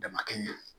Damakɛ ɲɛ